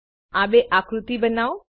આ બે આકૃતિઓ બનાવો